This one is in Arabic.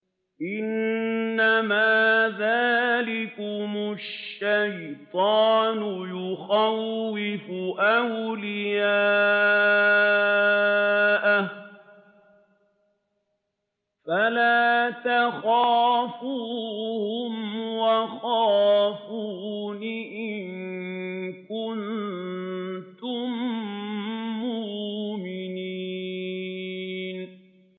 إِنَّمَا ذَٰلِكُمُ الشَّيْطَانُ يُخَوِّفُ أَوْلِيَاءَهُ فَلَا تَخَافُوهُمْ وَخَافُونِ إِن كُنتُم مُّؤْمِنِينَ